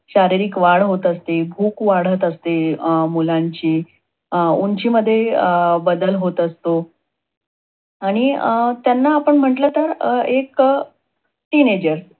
शारीरिक वाढ होत असते, भूक वाढत अस, अं ते मुलांची उंचीमध्ये अं बदल होत असतो. आणि अं त्यांना आपण म्हटल तर अं एक teen ager